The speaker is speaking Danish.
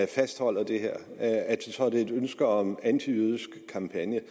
fastholder det her så er det et ønske om en antijødisk kampagne